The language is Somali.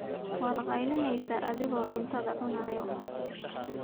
Waad kaylineysa aniga oo cunada cunayo.